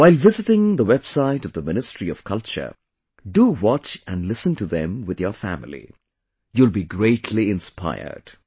While visiting the website of the Ministry of Culture, do watch and listen to them with your family you will be greatly inspired